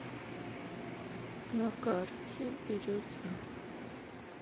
на карте бирюза